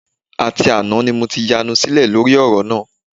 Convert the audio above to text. Àti àná ni mo ti yanu sílẹ̀ lórí ọ̀rọ̀ náà